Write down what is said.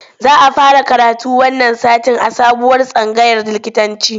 Za a fara karatu wannan satin a sabuwar tsangayar likitanci